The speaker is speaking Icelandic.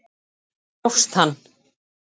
Grófst hann!